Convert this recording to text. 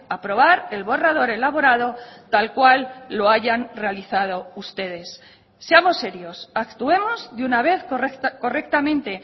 aprobar el borrador elaborado tal cual lo hayan realizado ustedes seamos serios actuemos de una vez correctamente